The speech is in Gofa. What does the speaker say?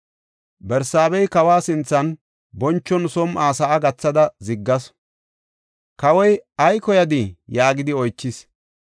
Barsaaba kawa sinthan bonchon som7uwa sa7a gathada ziggasu. Kawoy, “Ay koyadii?” yaagidi oychis.